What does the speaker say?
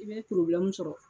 I bɛ poroblɛmu sɔrɔ.